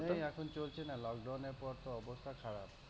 ঐ এখন চলছে না, lockdown এর পর তো অবস্থা খারাপ।